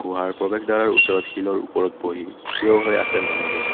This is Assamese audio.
গুহাৰ প্ৰবেশদ্বাৰ ওচৰত শিলৰ ওপৰত বহি থিয় হৈ আছে মানুহবোৰ।